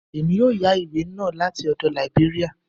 Èmi yóò yá ìwé náà láti ọdọ̀ Lìbéríà